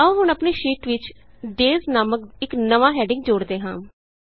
ਆਉ ਹੁਣ ਆਪਣੀ ਸ਼ੀਟ ਵਿਚ Daysਨਾਮਕ ਇਕ ਨਵੀਂ ਹੈਡਿੰਗ ਜੋੜਦੇ ਹਾਂ